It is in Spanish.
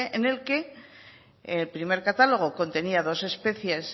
en el que el primer catálogo contenía dos especies